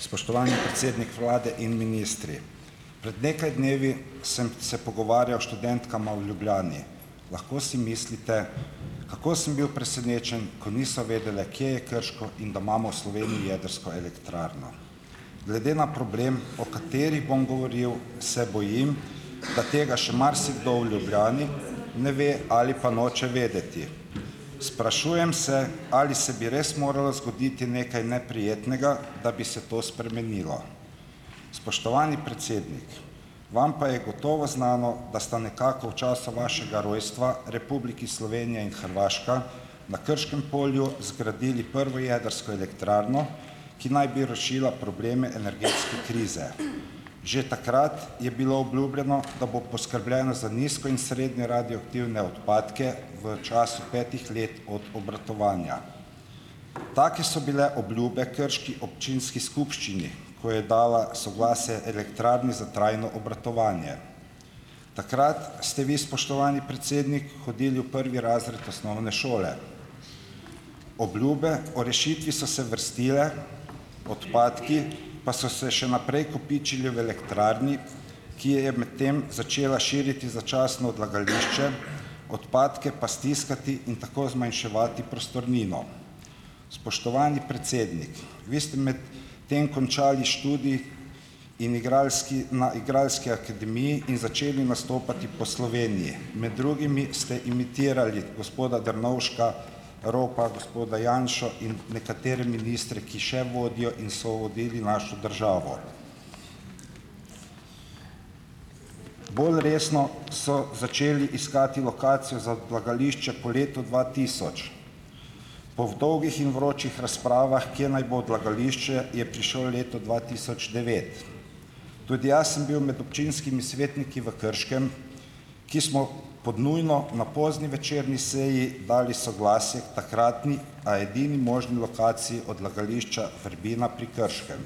Spoštovani predsednik Vlade in ministri. Pred nekaj dnevi sem se pogovarjal s študentkama v Ljubljani. Lahko si mislite, kako sem bil presenečen, ko niso vedele, kje je Krško in da imamo v Sloveniji jedrsko elektrarno. Glede na problem, o kateri bom govoril, se bojim, da tega še marsikdo v Ljubljani ne ve ali pa noče vedeti. Sprašujem se, ali se bi res moralo zgoditi nekaj neprijetnega, da bi se to spremenilo. Spoštovani predsednik! Vam pa je gotovo znano, da sta nekako v času vašega rojstva Republiki Slovenija in Hrvaška na Krškem polju zgradili prvo jedrsko elektrarno, ki naj bi rešila probleme energetske krize. Že takrat je bilo obljubljeno, da bo poskrbljeno za nizko in srednje radioaktivne odpadke v času petih let od obratovanja. Take so bile obljube krški občinski skupščini, ko je dala soglasje elektrarni za trajno obratovanje. Takrat ste vi spoštovani predsednik hodili v prvi razred osnovne šole. Obljube o rešitvi so se vrstile, odpadki pa so se še naprej kopičili v elektrarni, ki je med tem začela širiti začasno odlagališče , odpadke pa stiskati in tako zmanjševati prostornino. Spoštovani predsednik! Vi ste med tem končali študij in igralski na igralski akademiji in začeli nastopati po Sloveniji. Med drugimi ste imitirali gospoda Drnovška, Ropa, gospoda Janšo in nekatere ministre, ki še vodijo in so vodili našo državo. Bolj resno so začeli iskati lokacijo za odlagališče po letu dva tisoč. Po dolgih in vročih razpravah, kje naj bo odlagališče, je prišlo leto dva tisoč devet. Tudi jaz sem bil med občinskimi svetniki v Krškem, ki smo pod nujno na pozni večerni seji dali soglasje takratni, a edini možni lokaciji odlagališča Vrbina pri Krškem.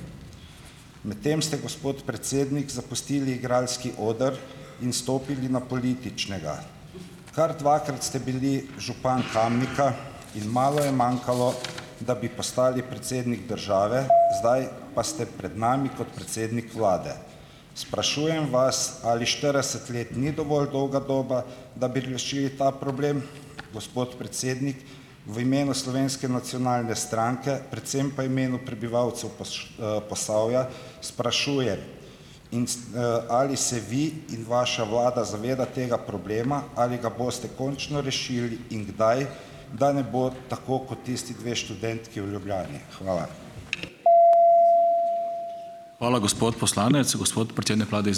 Med tem ste, gospod predsednik, zapustili igralski oder in stopili na političnega. Kar dvakrat ste bili župan Kamnika in malo je manjkalo, da bi postali predsednik države, zdaj pa ste pred nami kot predsednik vlade. Sprašujem vas, ali štirideset let ni dovolj dolga doba, da bi rešili ta problem, gospod predsednik? v imenu Slovenske nacionalne stranke, predvsem pa v imenu prebivalcev Posavja, sprašuje in s ali se vi in vaša vlada zaveda tega problema, ali ga boste končno rešili in kdaj, da ne bo tako kot tisti dve študentki v Ljubljani? Hvala.